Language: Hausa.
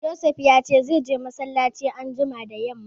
Josef ya ce zai je massalaci anjima da yamma